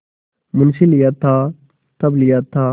मुंशीलिया था तब लिया था